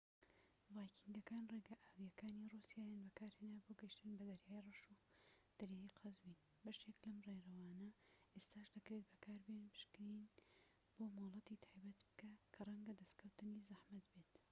ڤایکینگەکان ڕێگا ئاویەکانی ڕووسیایان بەکارهێنا بۆ گەیشتن بە دەریای ڕەش و دەریای قەزوین بەشێک لەم ڕێڕەوانە ئێستاش دەکرێت بەکاربێن پشکنین بۆ مۆڵەتی تایبەت بکە کە ڕەنگە دەسکەوتنی زەحمەت بێت